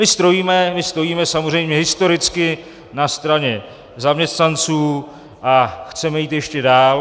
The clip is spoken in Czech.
My stojíme samozřejmě historicky na straně zaměstnanců a chceme jít ještě dál.